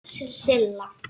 Silla